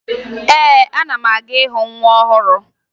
Ee, ana m aga ịhụ nwa ọhụrụ